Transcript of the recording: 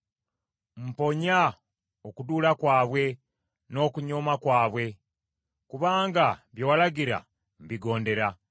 Mponya okuduula kwabwe n’okunyooma kwabwe; kubanga bye walagira mbigondera.